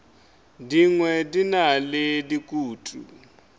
dingwe di na le dikutu